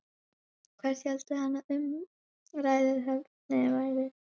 Hvert héldi hann að umræðuefnið hefði verið?